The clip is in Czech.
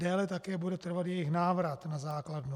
Déle také bude trvat jejich návrat na základnu.